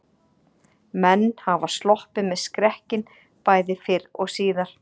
Menn hafa sloppið með skrekkinn bæði fyrr og síðar.